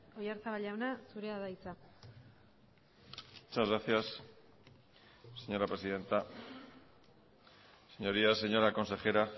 oyarzabal jauna zurea da hitza muchas gracias señora presidenta señorías señora consejera